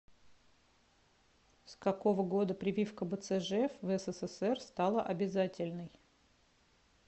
с какого года прививка бцж в ссср стала обязательной